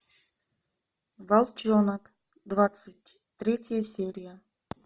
волчонок двадцать третья серия